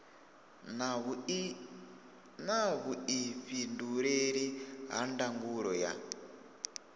na vhuifhinduleli ha ndangulo ya